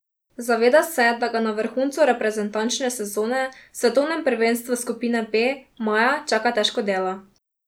Zaveda se, da ga na vrhuncu reprezentančne sezone, svetovnem prvenstvu skupine B, maja čaka težko delo.